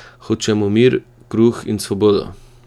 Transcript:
Hočemo mir, kruh in svobodo!